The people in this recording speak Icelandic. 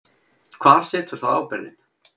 Hvar situr þá ábyrgðin?